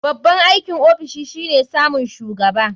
Babban aikin ofishi shine samun shugaba.